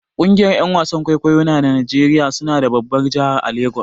Kungiyar Yan wasan kwaikwayo na Najeriya suna da babbar a jahar Lagos